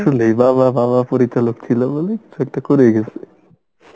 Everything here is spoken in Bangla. আসলে বাবা বাবা পরিচালক ছিলো বলে কিছু একটা করে গেসে